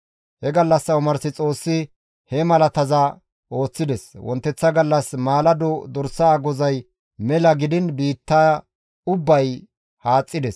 He gallassa omars Xoossi he malataza ooththides; wonteththa gallas maalado dorsa agozay mela gidiin biitta ubbay haaxxides.